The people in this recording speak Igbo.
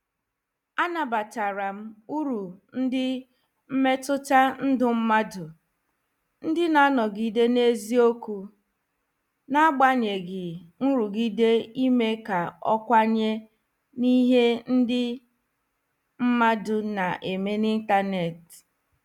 A nabatara m uru ndị mmetụta ndụ mmadụ, ndị na -anọgide n'eziokwu, na-n'agbanyeghị nrụgide ime ka ọ kwenye n'ihe ndị mmadu na-eme n'Ịntanet.